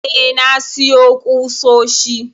eh, na siyo kusoshi